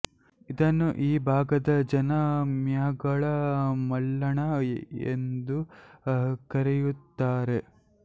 ಇದನ್ನು ಈ ಭಾಗದ ಜನ ಮ್ಯಾಗಳ ಮಲ್ಲಣ್ಣ ಎಂದು ಕರೆಯುತ್ತಾರೆ